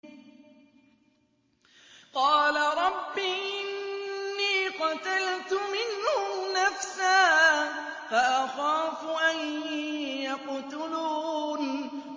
قَالَ رَبِّ إِنِّي قَتَلْتُ مِنْهُمْ نَفْسًا فَأَخَافُ أَن يَقْتُلُونِ